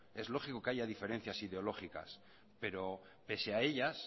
es lógico que haya diferencias ideológicas pero pese a ellas